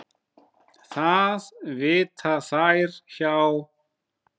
Það vita þær hjá